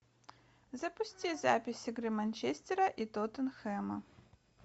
запусти запись игры манчестера и тоттенхэма